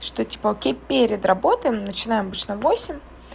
что типа окей перед работой начинаем обычно в восемь